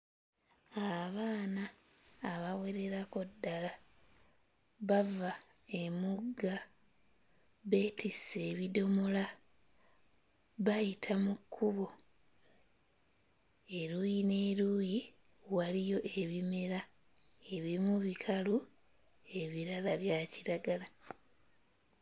Abaana abawererako ddala bava emugga beetisse ebidomola bayita mu kkubo. Eruuyi n'eruuyi waliyo ebimera, ebimu bikalu ebirala bya kiragala.